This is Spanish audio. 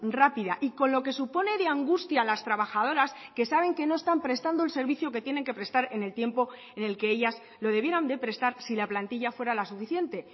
rápida y con lo que supone de angustia a las trabajadoras que saben que no están prestando el servicio que tienen que prestar en el tiempo en el que ellas lo debieran de prestar si la plantilla fuera la suficiente